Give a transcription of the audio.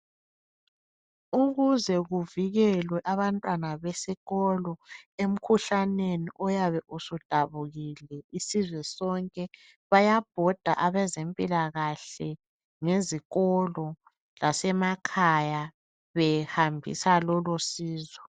Ukuze kuvikelwe abantwana besikolo emkhuhlaneni oyabe usudabukile isizwe sonke. Bayabhoda abezempilakahle ngezikolo lasemakhaya behambisa lolosizo.